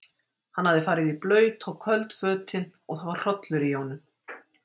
Hann hafði farið í blaut og köld fötin og það var hrollur í honum.